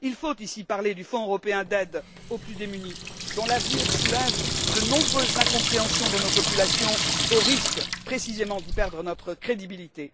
Il faut ici parler du Fonds européen d'aide aux plus démunis dont l'avenir soulève de nombreuses incompréhensions dans nos populations, au risque précisément d'y perdre notre crédibilité.